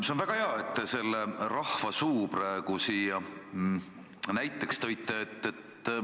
See on väga hea, et te selle rahva suu praegu siia sisse tõite.